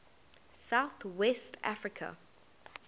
south west africa